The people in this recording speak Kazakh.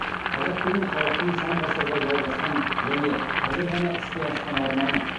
қазақ деген халықтың сан ғасырға жалғасқан және қазір ғана іске асқан арманы